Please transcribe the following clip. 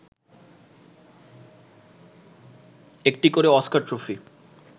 একটি করে Oscar trophy